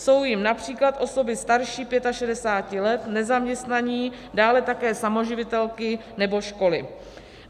Jsou jimi například osoby starší 65 let, nezaměstnaní, dále také samoživitelky nebo školy.